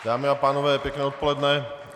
Dámy a pánové, pěkné odpoledne.